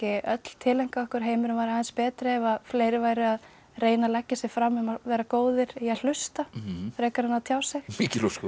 öll tileinkað okkur heimurinn væri aðeins betri ef að fleiri væru að reyna að leggja sig fram um að vera góðir í að hlusta frekar en að tjá sig mikil ósköp